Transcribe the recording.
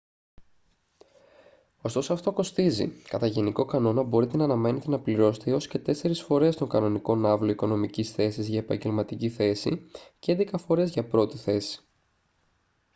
ωστόσο αυτό κοστίζει κατά γενικό κανόνα μπορείτε να αναμένετε να πληρώσετε έως και τέσσερεις φορές τον κανονικό ναύλο οικονομικής θέσης για επαγγελματική θέση και έντεκα φορές για πρώτη θέση